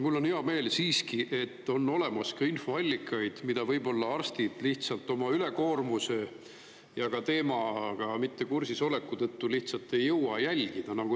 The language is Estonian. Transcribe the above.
Mul on hea meel siiski, et on olemas ka infoallikaid, mida võib-olla arstid lihtsalt oma ülekoormuse ja teemaga mitte kursis oleku tõttu lihtsalt ei jõua jälgida.